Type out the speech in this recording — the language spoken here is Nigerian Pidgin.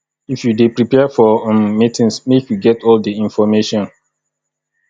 if you dey prepare for um meetings make you get all di information